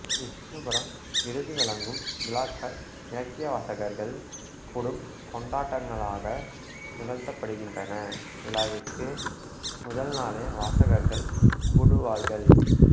விஷ்ணுபுரம் விருதுவழங்கும் விழாக்கள் இலக்கியவாசகர்கள் கூடும் கொண்டாட்டங்களாக நிகழ்த்தப்படுகின்றன விழாவிற்கு முதல்நாளே வாசகர்கள் கூடுவார்கள்